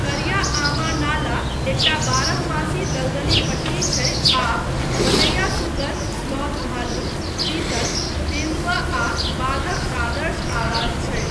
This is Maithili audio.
करिया आमा नाला एकटा बारहमासी दलदली पट्टी छै आ बनैया सुगर, स्लॉथ भालू, चीतल, तेन्दुआ, आ बाघक आदर्श आवास छै।